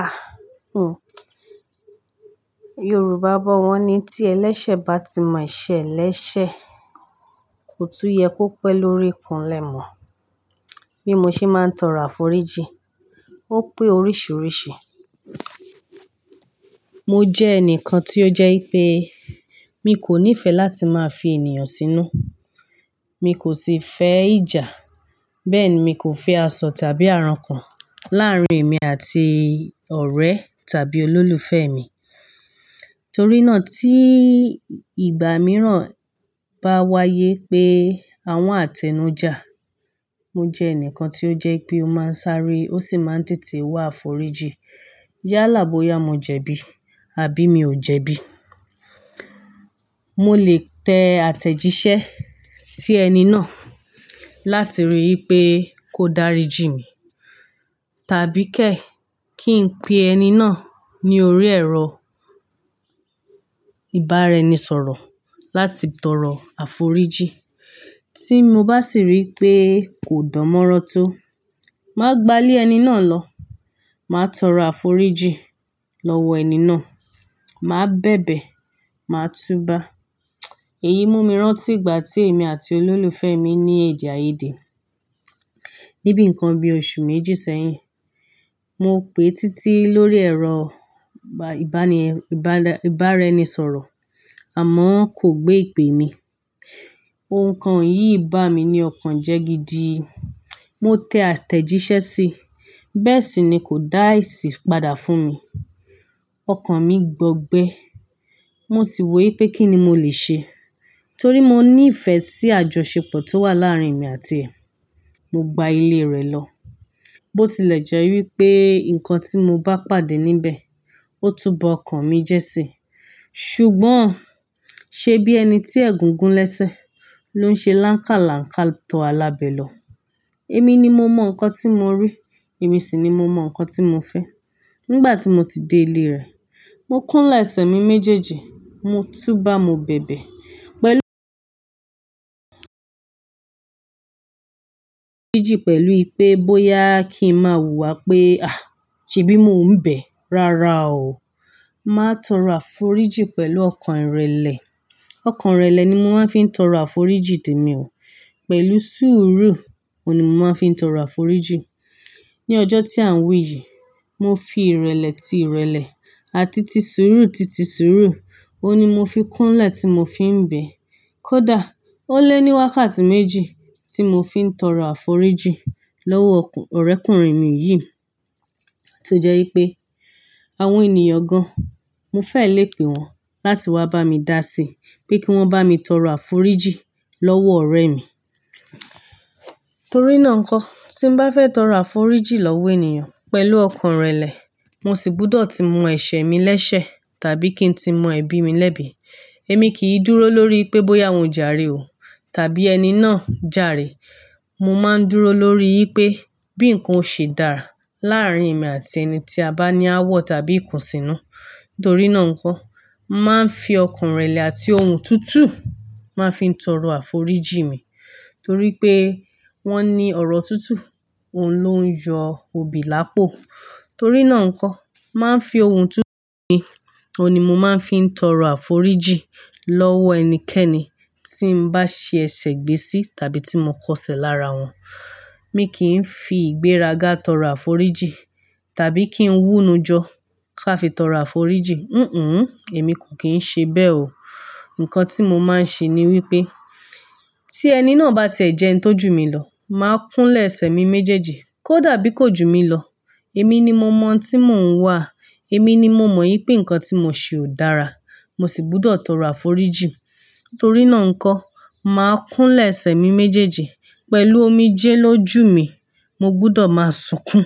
Ah! Hun. Yorùbá bọ́ wọ́n ni tí ẹlẹ́sẹ̀ bá ti mọ ese lẹ́sẹ̀, kò tún yẹ kó pẹ́ lórí ikùn lẹ́mọ̀. Bí mo ṣe máa ń tọrọ àforíjì, ó pé oríṣiríṣi. Mo jẹ́ ẹnìkan tí ó jẹ́ pé mi kò nífẹ̀ẹ́ láti máa fi ènìyàn sínú. Mi kò sì fẹ́ ìjà. Bẹ́ẹ̀ ni mi kò fẹ́ àsọ tàbí àrankùn láàrín èmi àti ọ̀rẹ́ tàbí olólùfẹ́ mi. Torí náà tí ìgbà mìíràn bá wáyé pé àwọn àtẹnu já, mo jẹ ẹnìkan tí ó jẹ́ pé ó máa ń sáré ó sì máa ń tètè wá àforíjì. Yá lá boya mo jẹ̀bi, àbí mi ò jẹ̀bi? Mo lè tẹ àtẹ̀jíṣẹ́ sí ẹni náà láti rí i pé kó dáríjì mi, tàbí kẹ̀ ẹ́ kí n pe ẹni náà ní orí ẹ̀rọ ìbáraẹnisọ̀rọ̀ láti tọrọ àforíjì. Tí mo bá sì rí i pé kò dánmọ́rán tó, màá gbá ilé ẹni náà lọ. Màá tọrọ àforíjì lọ́wọ ẹni náà. Màá bẹ̀bẹ̀, màá túba. Èyí mú mi rán tí ìgbà tí èmi àti olólùfẹ́ mi ní èdè àìyedè níbí nǹkan bí oṣù méjì sẹ́yìn. Mo pè títí lórí ẹ̀rọ ìbáraẹnisọ̀rọ̀ àmọ́ kò gbé ìpè mi. Ò nkan yìí bá mi ní ọkàn jẹ́ gídí. Mo tẹ àtẹ̀jíṣẹ́ sí, bẹ́ẹ̀ sì ni kò dáàsí padà fún mi. Ọkàn mi gbọgbẹ́. Mo sì wò ó pé kí ni mo lè ṣe? Torí mo ní ìfẹ́ sí àjọṣepọ̀ tó wà láàrín èmi àti è. Mo gba ilé rẹ̀ lọ. Bó tilẹ̀ jẹ́ wípé nǹkan tí mo bá pàdé níbẹ̀ ó tu ba ọkàn mi jẹ́ sí i. Ṣùgbọ́n ṣe bí ẹni tí ẹ̀gún gún ló ń ṣe lankalanka tó alábẹ́ lọ. Èmi ni mo mọ nǹkan tí mo rí, èmi sì ni mo mo nǹkan tí mo fẹ́. Nígbà tí mo ti dé ilé rẹ̀, mo kúnlẹ̀ ẹsẹ̀ mi méjèèjì, mo tú bá, mo bẹ̀bẹ̀ pẹ̀lú àforíjì pẹ̀lú ìpé bóyá kí n máa hùwà pé, "à, ṣebj mo ń bẹ̀." Rárá o. Màá tọrọ àforíjì pẹ̀lú ọkàn ìrẹ̀lẹ̀. Ọkàn ìrẹ̀lẹ̀ ni mo máa fi ń tọrọ àforíjì tèmi o. Pẹ̀lú sùúrù o ni mo máa fi n'tọrọ àforíjì. Ni ọjọ́ tí à ń wí yìí, mo fi ìrẹ̀lẹ̀ ti ìrẹ̀lẹ̀ àti ti sùúrù ti ti sùúrù, òun ni mo fi kúnlẹ̀ tí mo fi ń bẹ̀. Kódà ó lé ní wákàtí méjì tí mo fi ń tọrọ àforíjì lọ́wọ́ ọ̀rẹ́kùnrin mi yìí tó jẹ́ wípé àwọn ènìyàn gan-an, mo fẹ́ lè pè wọ́n láti wá bá mi dá sí i pé kí wọ́n bá mi tọrọ àforíjì lọ́wọ́ ọ̀rẹ́ mi. Torí náà nǹkan, tí n bá fẹ́ tọrọ àforíjì lọ́wọ́ ènìyàn pẹ̀lú ọkàn ìrẹ̀lẹ̀, mo sì gbúdọ̀ ti mọ ẹsẹ̀ mi lẹ́sẹ̀ tàbí kí n ti mọ ẹbí mi lẹ́bi. Èmi kì í dúró lórí pé bóyá wọn jà rí o tàbí ẹni náà jà re. Mo máa ń dúró lórí wípé bí nǹkan o ṣe dára láàrín èmi àti ẹni tí a bá ní ááwọ̀ tàbí ikùn sínú. Nítorí náà nǹkan, màá ń fi ọkàn ìrẹ̀lẹ̀ àti ohun tuntun màá fi ń tọrọ àforíjì mi. Torí pé wọ́n ní ọ̀rọ̀ tuntun, òun ló ń yọ òbí lápò. Torí náà nǹkan, màá ń fi ohun tuntun mi, òun ni mo máa fi ń tọrọ àforíjì lọ́wọ́ ẹnikẹ́ni tí n bá ṣe ẹsẹ̀ gbé sí tàbí tí mo kọsẹ̀ lára wọn. Mi kì n'í fi ìgbéraga tọrọ àforíjì tàbí kí n wúnu jọ ká fi tọrọ àforíjì. Hìhùn. Èmi kò kìí n'ṣe bẹ́ẹ̀ o. Nǹkan tí mo máa ń ṣe ni wípé tí ẹni náà bá tiẹ́ jẹ ẹni tó jù mí lọ, màá kúnlẹ̀ ẹsẹ̀ mi méjèèjì. Kó dàbí kò jù mí lọ, èmi ni mo mọ ohun tí mò ń wà. Èmi ni mo mọ wípé nǹkan tí mò ṣe ò dára, mo sì gbúdọ̀ tọrọ àforíjì. Torí náà nǹkan, màá kúnlẹ̀ ẹsẹ̀ mi méjèèjì pẹ̀lú omijé ló jù mí, mo gbúdọ̀ máa sunkún.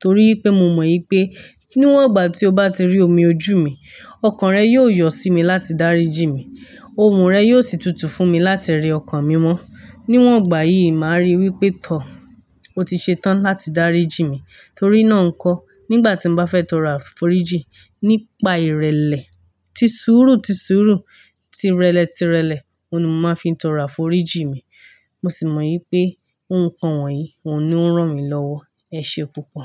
Torí wípé mo mọ̀ wípé níwọ̀n ìgbà tí ó bá ti rí omi ojú mi, ọkàn rẹ̀ yóò yọ sí mi láti dáríjì mí. Ohùn rẹ̀ yóò sì tutù fún mi láti rí ọkàn mi wọ́n. Níwọ̀n ìgbà yìí màá rí i wípé tọ́, ó ti ṣe tán láti dáríjì mí. Torí náà nǹkan, nígbà tí n bá fẹ́ tọrọ àforíjì nípa ìrẹ̀lẹ̀ ti sùúrù ti sùúrù, ti rẹ̀lẹ̀ ti rẹ̀lẹ̀, òun ni mo máa fi tọrọ àforíjì mi. Mo sì mọ̀ wípé òhun kan wọ̀nyí, òun ni ó ń ràn mí lọ́wọ́. Ẹ ṣe púpọ̀.